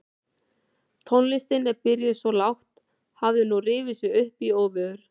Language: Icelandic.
Tónlistin sem byrjaði svo lágt hafði nú rifið sig upp í óveður.